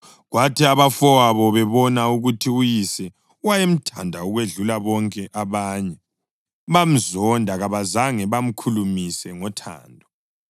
Kwathi abafowabo bebona ukuthi uyise wayemthanda ukwedlula bonke abanye bamzonda kabazange bamkhulumise ngothando.